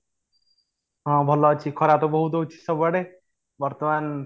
ହଁ, ଭଲ ଅଛି ଖରା ତ ବହୁତ ହଉଛି ସବୁଆଡେ ବର୍ତ୍ତମାନ